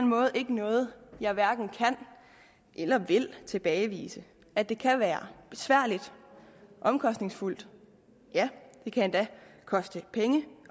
måde ikke noget jeg hverken kan eller vil tilbagevise at det kan være besværligt omkostningsfuldt det kan endda koste penge